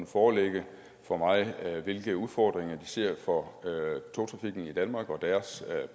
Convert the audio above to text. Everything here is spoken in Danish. forelægge for mig hvilke udfordringer de ser for togtrafikken i danmark og deres